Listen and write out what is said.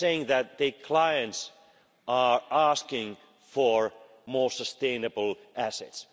They are saying that their clients are asking for more sustainable assets.